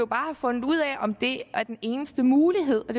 bare have fundet ud af om det er den eneste mulighed og